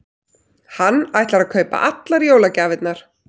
Hann ætlar að kaupa allar jólagjafirnar.